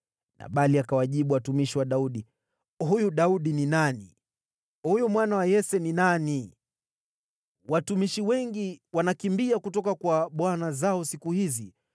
Nabali akawajibu watumishi wa Daudi, “Huyu Daudi ni nani? Huyu mwana wa Yese ni nani? Watumishi wengi wanakimbia kutoka kwa bwana zao siku hizi.